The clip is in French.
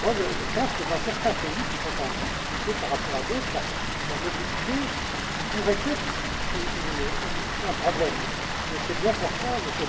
Je pense que dans certains pays qui sont en difficulté par rapport à d'autres, la mobilité pourrait être un problème et c'est bien pour cela, M.